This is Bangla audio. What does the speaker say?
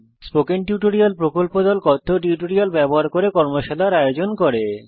কথ্য টিউটোরিয়াল প্রকল্প দল কথ্য টিউটোরিয়াল ব্যবহার করে কর্মশালার আয়োজন করে